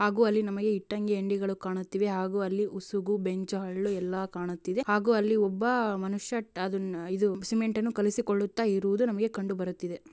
ಆಗೂ ಅಲ್ಲಿ ಇಟ್ಟಂಗಿ ಅಂಗಡಿಗಳು ಕಾಣುತ್ತಿವೆ ಹಾಗೂ ಅಲ್ಲಿ ಉಸುಗು ಬೆಂಚು ಹಳ್ಳು ಎಲ್ಲಾ ಕಾಣುತ್ತಿದೆ ಹಾಗೂ ಅಲ್ಲಿ ಒಬ್ಬ ಮನುಷ್ಯ ಅದು ಅದನ್ನ ಇದು ಸಿಮೆಂಟ್‌ ಅನ್ನು ಕಲಸಿಕೊಳ್ಳುತ್ತಾ ಇರುವುದು ನಮಗೆ ಕಂಡು ಬರುತ್ತಿದೆ